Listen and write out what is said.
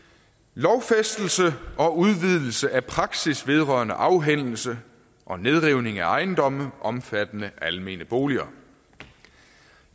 lovfæstelse og udvidelse af praksis vedrørende afhændelse og nedrivning af ejendomme omfattende almene boliger